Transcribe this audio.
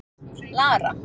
Lara